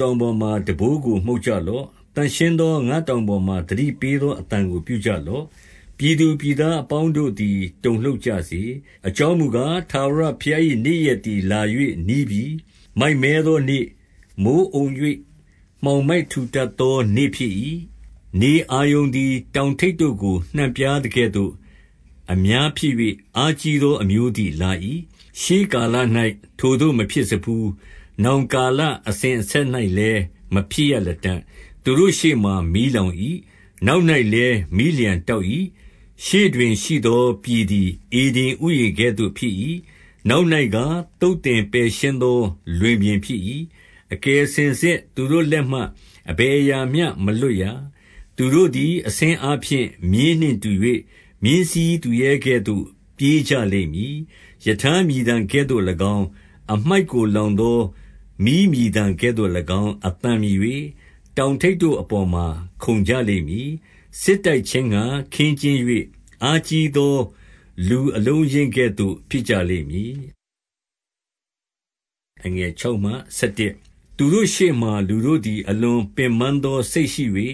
တောင်ပေါ်မှာ တံပိုးကို မှုတ်ကြလော့။ သန့်ရှင်းသော ငါတောင်ပေါ်မှာ သတိပေးသော အသံကို ပြုကြလော့။ ပြည်သူပြည်သားအပေါင်းတို့သည် တုန်လှုပ် ကြစေ။ အကြောင်းမူကား၊ ထာဝရဘုရား၏ နေ့ရက်သည် လာ၍ နီးပြီ။ 2 မိုက်မဲသောနေ့၊ မိုဃ်းအုံ၍ မှောင်မိုက်ထူထပ် သော နေ့ဖြစ်၏။ ဓနအာရုန်သည် တောင်ထိပ်တို့ကို နှံ့ ပြားသကဲ့သို့၊ အများဖြစ်၍ အားကြီးသော အမျိုးသည် လာ၏။ ရှေးကာလ၌ ထိုသို့ မဖြစ်စဖူး။ နောင်ကာလ အစဉ်အဆက်၌လည်း မဖြစ်ရလတံ့။ 3 သူတို့ရှေ့မှာ မီးလောင်၏။ နောက်၌လည်း မီးလျှံတောက်၏။ ရှေ့တွင်ရှိသော ပြည်သည် ဧဒင် ဥယျာဉ်ကဲ့သို့ ဖြစ်၏။ နောက်၌ကား၊ သုတ်သင်ပယ်ရှင်း သော လွင်ပြင်ဖြစ်၏။ အကယ်စင်စစ် သူတို့လက်မှ အဘယ်အရာမျှ မလွတ်ရ။ 4 သူတို့သည် အဆင်းအားဖြင့် မြင်းနှင့်တူ၍၊ မြင်းစီးသူရဲကဲ့သို့ ပြေးကြလိမ့်မည်။ 5 ရထားမြည်သံကဲ့သို့၎င်း၊ အမှိုက်ကို လောင်သော မီးမြည်သံကဲ့သို့၎င်း အသံမြည်၍ တောင်ထိပ်တို့အပေါ် မှာ ခုန်ကြလိမ့်မည်။ စစ်တိုက်ခြင်းငှါ ခင်းကျင်း၍ အားကြီးသော လူအလုံးအရင်းကဲ့သို့ ဖြစ်ကြလိမ့်မည်။ 6 သူတို့ရှေ့မှာ လူတို့သည် အလွန်ပင်ပန်းသော စိတ်ရှိ၍၊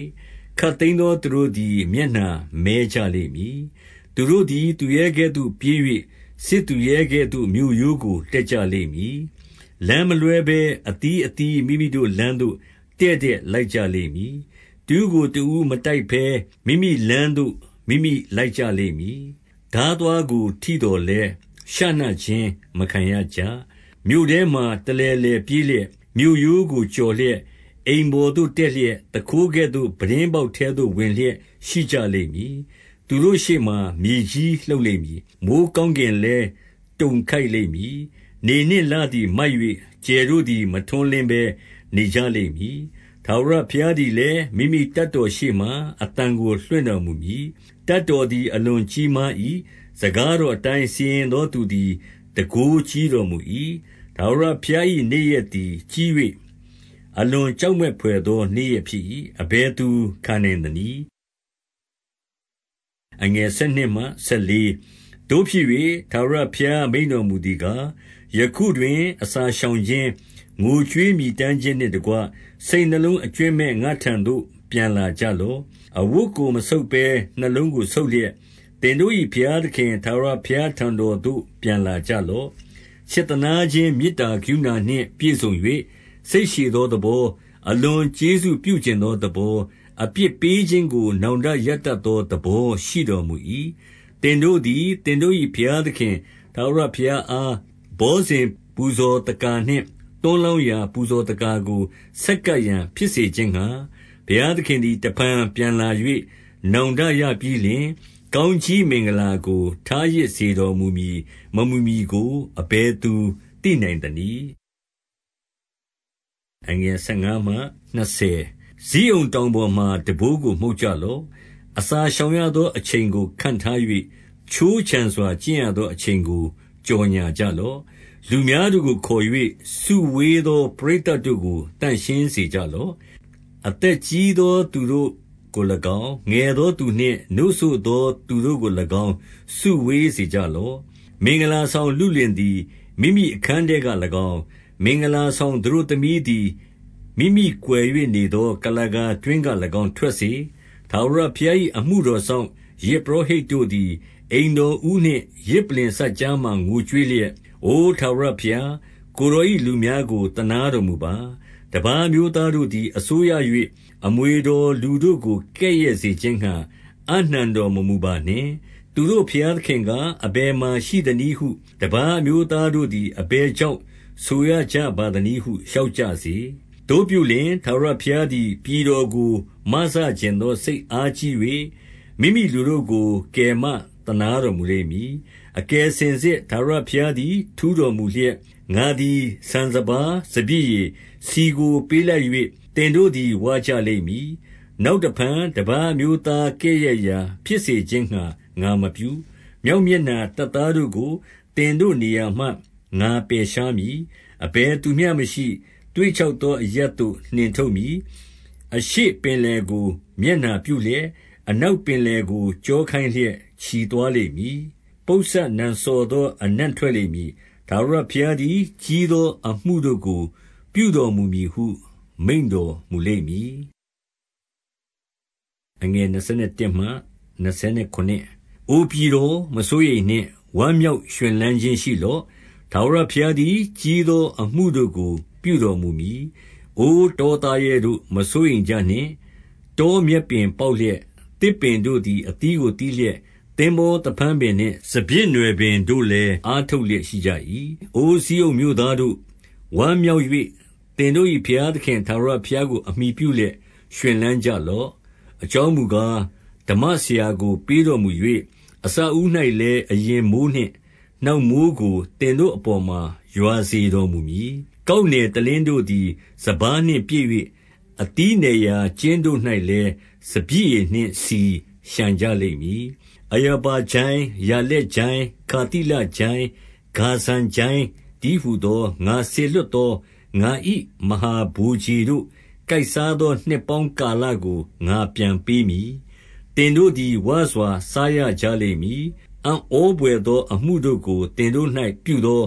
ခပ်သိမ်းသော သူတို့သည် မျက်နှာမည်းကြ လိမ့်မည်။ 7 သူတို့သည် သူရဲကဲ့သို့ ပြေး၍ စစ်သူရဲကဲ့သို့ မြို့ရိုးကို တက်ကြလိမ့်မည်။ လမ်းမလွှဲဘဲ အသီးအသီး မိမိတို့လမ်းသို့ တည့်တည့်လိုက်ကြလိမ့်မည်။ 8 တဦးကိုတဦး မတိုက်ဘဲ မိမိလမ်းသို့ မိမိလိုက် ကြလိမ့်မည်။ ထားသွားကို ထိသော်လည်း ရှနခြင်းကို မခံရကြ။ 9 မြို့ထဲမှာတလည်လည် ပြေးလျက်၊ မြို့ရိုးကို ကျော်လျက်၊ အိမ်ပေါ်သို့ တက်လျက်၊ သူခိုးကဲ့သို့ ပြတင်း ပေါက်ထဲသို့ ဝင်လျက်ရှိကြလိမ့်မည်။ 10 သူတို့ရှေ့မှာ မြေကြီးလှုပ်လိမ့်မည်။ မိုဃ်း ကောင်းကင်လည်း တုန်ခိုက်လိမ့်မည်။ နေနှင့်လ သည် မိုက်၍၊ ကြယ်တို့သည် မထွန်းလင်းဘဲ နေကြလိမ့်မည်။ 11 ထာဝရဘုရားသည်လည်း မိမိတပ်တော်ရှေ့မှာ အသံကို လွှင့်တော်မူမည်။ တပ်တော်သည် အလွန်ကြီးမား ၏။ စကားတော်အတိုင်း စီရင်သော သူသည် တန်ခိုးကြီး တော်မူ၏။ ထာဝရဘုရား၏နေ့ရက်သည် ကြီး၍ အလွန် ကြောက်မက်ဘွယ်သော နေ့ရက်ဖြစ်၏။ အဘယ်သူခံနိုင် သနည်း။ 12 သို့ဖြစ်၍၊ ထာဝရဘုရား မိန့်တော်မူသည်ကား၊ ယခုတွင် အစာရှောင်ခြင်း၊ ငိုကြွေးမြည်တမ်းခြင်းနှင့်တကွ စိတ်နှလုံးအကြွင်းမဲ့ ငါ့ထံသို့ ပြန်လာကြလော့။ 13 အဝတ်ကို မဆုတ်ဘဲ နှလုံးကို ဆုတ်လျက်၊ သင်တို့၏ ဘုရားသခင်ထာဝရဘုရားထံတော်သို့ ပြန်လာ ကြလော့။ ချစ်သနားခြင်း မေတ္တာကရုဏာနှင့် ပြည့်စုံ၍ စိတ်ရှည်သောသဘော၊ အလွန်ကျေးဇူးပြုချင်သော သဘော၊ အပြစ်ပေးခြင်းကို နောင်တရတတ်သော သဘောရှိတော်မူ၏။ 14 သင်တို့သည် သင်တို့၏ ဘုရားသခင် ထာဝရ ဘုရားအား ဘောဇဉ်ပူဇော်သက္ကာနှင့် သွန်းလောင်းရာ ပူဇော်သက္ကာကို ဆက်ကပ်ရန် ဖြစ်စေခြင်းငှါ၊ ဘုရား သခင်သည် တဖန် ပြန်လာ၍ နောင်တရပြီးလျှင်၊ ကောင်းကြီးမင်္ဂလာကို ထားရစ်စေတော်မူမည်မမူမည်ကို အဘယ်သူသိနိုင်သနည်း။ 15 ဇိအုန်တောင်ပေါ်မှာ တံပိုးကို မှုတ်ကြလော့။ အစာရှောင်ရသော အချိန်ကို ခန့်ထား၍ ခြိုးခြံစွာ ကျင့်ရသော အချိန်ကို ကြော်ငြာကြလော့။ 16 လူများတို့ကို ခေါ်၍ စုဝေးသော ပရိသတ်တို့ကို သန့်ရှင်းစေကြလော့။ အသက်ကြီးသော သူတို့ကို၎င်း၊ ငယ်သောသူနှင့်နို့စို့သော သူတို့ကို၎င်း စုဝေးစေကြလော့။ မင်္ဂလာဆောင်လုလင်သည် မိမိအခန်းထဲက၎င်း၊ မင်္ဂလာ ဆောင်သတို့သမီးသည် မိမိကွယ်၍နေသော ကုလားကာ တွင်းက၎င်း ထွက်စေ။ 17 ထာဝရဘုရား၏ အမှုတော်စောင့်၊ ယဇ်ပုရော ဟိတ်တို့သည် အိမ်တော်ဦးနှင့် ယဇ်ပလ္လင်စပ်ကြားမှာ ငိုကြွေးလျက်၊ အိုထာဝရဘုရား၊ ကိုယ်တော်၏လူများကို သနားတော်မူပါ။ တပါးအမျိုးသားတို့သည် အစိုးရ၍ အမွေတော်လူတို့ကို ကဲ့ရဲ့စေခြင်းငှါ အပ်နှံတော်မမူပါ နှင့်။ သူတို့ ဘုရားသခင်ကား၊ အဘယ်မှာ ရှိသနည်းဟု တပါးအမျိုးသားတို့သည် အဘယ်ကြောင့် ဆိုရကြပါ သနည်းဟု လျှောက်ကြစေ။ 18 သို့ပြုလျှင်၊ ထာဝရဘုရားသည် ပြည်တော်ကို မစချင်သော စိတ်အားကြီး၍ မိမိလူတို့ကို ကယ်မသနား တော်မူလိမ့်မည်။ 19 အကယ်စင်စစ် ထာဝရဘုရားသည် ထူးတော်မူ လျက်၊ ငါသည် ဆန်စပါး၊ စပျစ်ရည်၊ ဆီကို ပေးလိုက်၍ သင်တို့သည် ဝကြလိမ့်မည်။ နောက်တဖန် တပါးအမျိုး သားကဲ့ရဲ့ရာဖြစ်စေခြင်းငှါ ငါမပြု။ 20 မြောက်မျက်နှာတပ်သားတို့ကို သင်တို့နေရာမှ ငါပယ်ရှားမည်။ အဘယ်သူမျှမရှိ၊ သွေ့ခြောက်သော အရပ်သို့ နှင်ထုတ်မည်။ အရှေ့ပင်လယ်ကို မျက်နှာပြု လျက်၊ အနောက်ပင်လယ်ကို ကျောခိုင်းလျက် ချီသွားလိမ့် မည်။ ပုပ်စပ်နံစော်သော အနံ့ထွက်လိမ့်မည်။ ထာဝရ ဘုရားသည် ကြီးသော အမှုတို့ကို ပြုတော်မူမည်ဟု မိန့်တော်မူလိမ့်မည်။ 21 အိုပြည်တော်၊ မစိုးရိမ်နှင့်။ ဝမ်းမြောက်ရွှင်လန်း ခြင်းရှိလော့။ ထာဝရဘုရားသည် ကြီးသောအမှုတို့ကို ပြုတော်မူမည်။ 22 အိုတော သားရဲတို့၊ မစိုးရိမ်ကြနှင့်။ တောမြက် ပင်ပေါက်လျက်၊ သစ်ပင်တို့သည် အသီးကို သီးလျက်၊ သင်္ဘောသဖန်းပင်နှင့် စပျစ်နွယ်ပင်တို့လည်း အားထုတ် လျက်ရှိကြ၏။ 23 အိုဇိအုန်မြို့သားတို့၊ ဝမ်းမြောက်၍ သင်တို့၏ ဘုရားသခင်ထာဝရဘုရားကို အမှီပြုလျက် ရွှင်လန်း ကြလော့။ အကြောင်းမူကား၊ ဓမ္မဆရာကို ပေးတော်မူ၍ အစအဦး၌လည်း အရင်မိုဃ်းနှင့်နောက်မိုဃ်းကို သင်တို့ အပေါ်မှာ ရွာစေတော်မူမည်။ 24 ကောက်နယ်တလင်းတို့သည် စပါးနှင့်ပြည့်၍၊ အသီးနယ်ရာ ကျင်းတို့၌လည်း စပျစ်ရည်နှင့်ဆီ လျှံကြ လိမ့်မည်။ 25 အရာဘကျိုင်း၊ ယာလက်ကျိုင်း၊ ခါသိလကျိုင်း၊ ဂါဇံကျိုင်းတည်းဟူသော ငါစေလွှတ်သော ငါ၏ မဟာ ဗိုလ်ခြေတို့ ကိုက်စားသော နှစ်ပေါင်းကာလကို ငါပြန်ပေး မည်။ 26 သင်တို့သည် ဝစွာ စားရကြလိမ့်မည်။ အံ့ဩ ဘွယ်သောအမှုတို့ကို သင်တို့၌ ပြုသော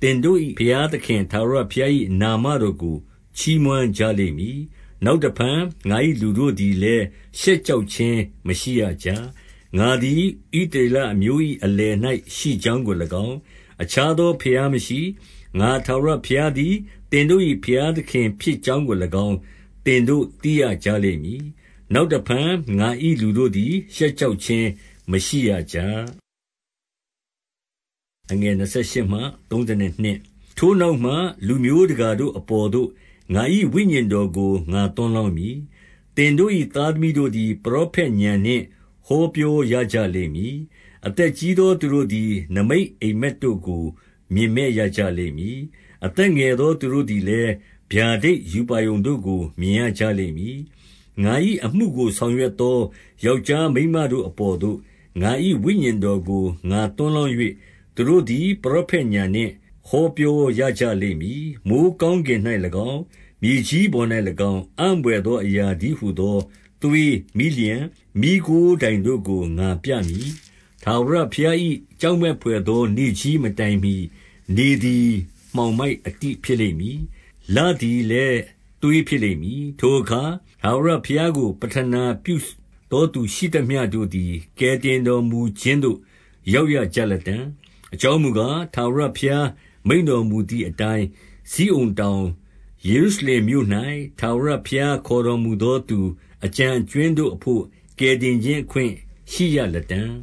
သင်တို့၏ဘုရား သခင်ထာဝရဘုရား၏နာမတော်ကို ချီးမွမ်းကြလိမ့်မည်။ နောက်တဖန် ငါ၏လူတို့သည်လည်း ရှက်ကြောက်ခြင်း မရှိရကြ။ 27 ငါသည် ဣသရေလအမျိုး၏အလယ်၌ရှိ ကြောင်းကို၎င်း၊ အခြားသော ဘုရားမရှိ၊ ငါထာဝရဘုရား သည် သင်တို့၏ဘုရားသခင်ဖြစ်ကြောင်းကို၎င်း သင်တို့ သိရကြလိမ့်မည်။ နောက်တဖန်ငါ၏လူတို့သည် ရှက် ကြောက်ခြင်း မရှိရကြ။ 28 ထိုနောက်မှ လူမျိုးတကာတို့ အပေါ်သို့ ငါ၏ ဝိညာဉ်တော်ကို ငါသွန်းလောင်းမည်။ သင်တို့၏ သားသမီးတို့သည် ပရောဖက်ဉာဏ်နှင့် ဟောပြောရကြ လိမ့်မည်။ အသက်ကြီးသောသူတို့သည် နိမိတ်အိပ်မက် တို့ကို မြင်မက်ရကြလိမ့်မည်။ အသက်ငယ်သော သူတို့ သည်လည်း ဗျာဒိတ်ရူပါရုံတို့ကို မြင်ရကြလိမ့်မည်။ 29 ငါ၏အမှုကို ဆောင်ရွက်သော ယောက်ျားမိန်းမ တို့အပေါ်သို့ ငါ၏ဝိညာဉ်တော်ကို ငါသွန်းလောင်း၍၊ သူတို့သည် ပရောဖက်ဥာဏ်နှင့် ဟောပြောရကြလိမ့်မည်။ 30 မိုဃ်းကောင်းကင်၌၎င်း၊ မြေကြီးပေါ်၌၎င်း၊ အံ့ဘွယ်သောအရာတည်းဟူသော သွေး၊ မီးလျှံ၊ မီးခိုးတိုင် တို့ကို ငါပြမည်။ 31 ထာဝရဘုရား၏ ကြောက်မက်ဘွယ်သော နေ့ကြီးမတိုင်မှီ၊ နေသည်မှောင်မိုက်အတိ ဖြစ်လိမ့်မည်။လသည်လည်း သွေးဖြစ်လိမ့်မည်။ 32 ထိုအခါ ထာဝရဘုရားကို ပဌနာ ပြုသောသူ ရှိသမျှတို့သည် ကယ်တင်တော်မူခြင်းသို့ ရောက်ရကြ လတံ့။ အကြောင်းမူကား၊ ထာဝရဘုရားမိန့်တော်မူသည် အတိုင်း ဇိအုနတောင်၊ ယေရုရှလင်မြို့၌၊ ထာဝရဘုရား ခေါ်တော်မူသောသူ အကျန်အကြွင်းတို့အဘို့ ကယ်တင် ခြင်းအခွင့် ရှိရလတံ့